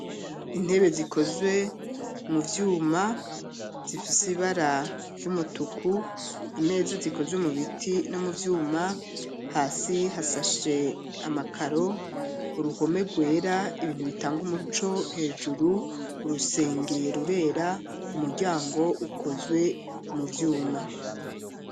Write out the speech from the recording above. Intebe zikozwe mu vyuma zifise ibara ry'umutuku imezap zikozwe mu biti no mu vyuma hasi hasashe amakaro, uruhome gwera ibintu bitanga umuco hejuru urusenge rurera umuryango ukozwe mu vyuma.